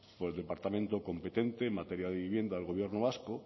por el departamento competente en materia de vivienda del gobierno vasco